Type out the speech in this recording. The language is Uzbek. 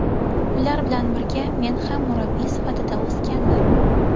Ular bilan birga men ham murabbiy sifatida o‘sganman”.